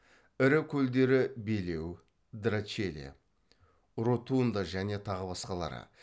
ірі көлдері белеу драчеле ротунда және тағы басқалары